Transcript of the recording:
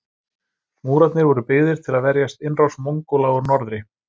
Múrarnir voru byggðir til að verjast innrás Mongóla úr norðri.